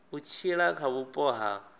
u tshila kha vhupo ha